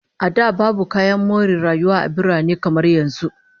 A da, babu kayan more rayuwa a birane kamar yanzu